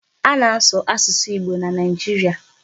A na-asụ Igbo na Nigeria.